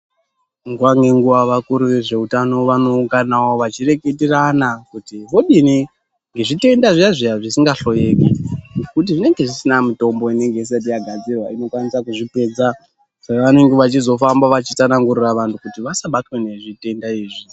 Nguwa ngenguwa vakuri vezveutano vanounganawo vachireketerana kuti vodini ngezvitenda zviya zviya zvisingahloyeki kuti zvinenge zvisina mitombo inenge isati yagadzirwa inokwanisa kuzvipedza saka vanenge vachizofamba vachitsanangurira vantu kuti vasabatwa nezvitenda izvi.